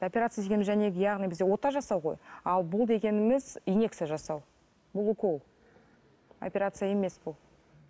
оперция дегеніміз яғни бізде ота жасау ғой ал бұл дегеніміз иннекция жасау бұл укол операция емес бұл